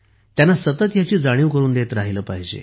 त्यांना सतत ह्याची जाणीव करून देत राहिले पाहिजे